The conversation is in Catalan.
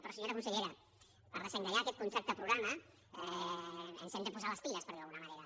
però senyora consellera per desencallar aquest contracte programa ens hem de posar les piles per dir ho d’alguna manera